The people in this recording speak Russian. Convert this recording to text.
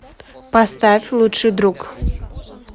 поставь лучший друг